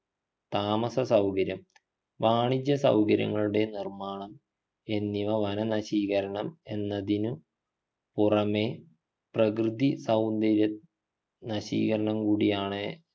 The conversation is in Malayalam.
താമസ സൗകര്യം വാണിജ്യ സൗകര്യങ്ങളുടെ നിർമാണം എന്നിവ വനനശീകരണം എന്നതിനു പുറമെ പ്രകൃതി സൗന്ദര്യ നശീകരണം കൂടിയാണ്